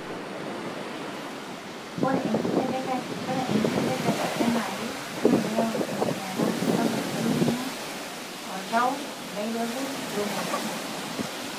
Ore enkitedekata eanaake na keyau enkinyiala sapuk elukunya, oltau, ilairakuj wemonyua,